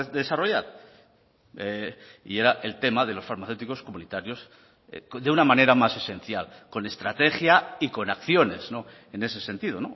desarrollar y era el tema de los farmacéuticos comunitarios de una manera más esencial con estrategia y con acciones en ese sentido